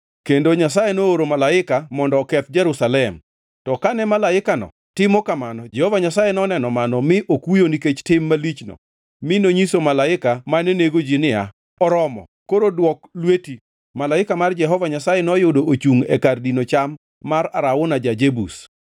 Kendo Nyasaye nooro malaika mondo oketh Jerusalem. To kane malaikano timo kamano Jehova Nyasaye noneno mano mi okuyo nikech tim malichno mi nonyiso malaika mane nego ji niya, “Oromo! Koro dwok lweti.” Malaika mar Jehova Nyasaye noyudo ochungʼ e kar dino cham mar Arauna ja-Jebus.